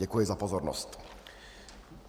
Děkuji za pozornost.